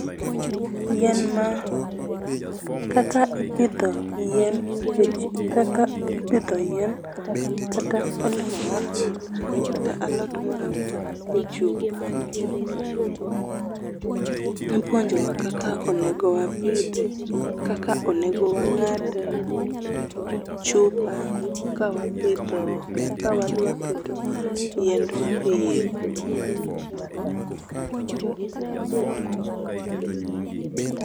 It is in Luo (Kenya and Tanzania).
Yien ma, kaka ipidho yien, kaka ipidho yien kata olemo moro amora kata alot moro amora e chupa. Ipuonjowa kaka onego wapidhe, kaka onego wangad chupa ka wapidho, ka wadwa keto yiendwa eiye kuro.